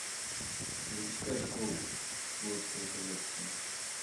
запускай шоу флотская коллекция